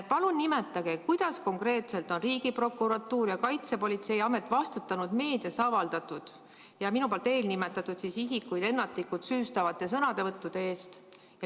Palun öelge, kuidas konkreetselt on Riigiprokuratuur ja Kaitsepolitseiamet vastutanud meedias avaldatud ja minu nimetatud isikuid ennatlikult süüstavate sõnavõttude eest.